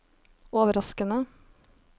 overraskende